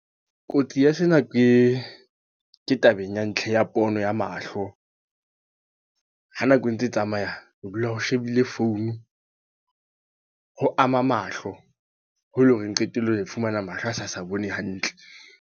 Kotsi ya sena ke, ke tabeng ya ntlha ya pono ya mahlo. Ha nako e ntse e tsamaya, ho dula o shebile founu, ho ama mahlo. Ho e le hore qetellong, re fumana mahlo a sa sa bone hantle.